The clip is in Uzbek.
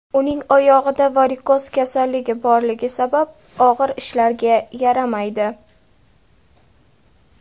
Uning oyog‘ida varikoz kasalligi borligi sabab, og‘ir ishlarga yaramaydi.